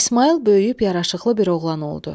İsmayıl böyüyüb yaraşıqlı bir oğlan oldu.